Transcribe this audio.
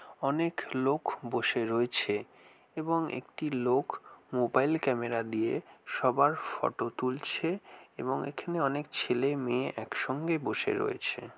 অনেক লোক বসে রয়েছে এবং একটি লোক মোবাইল ক্যামেরা দিয়ে সবার ফটো তুলছে এবং এখানে অনেক ছেলে মেয়ে একসঙ্গে বসে রয়েছে ।